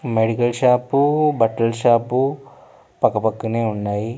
Medical షాపూ బట్టల shop పక్కపక్కనే ఉన్నాయి.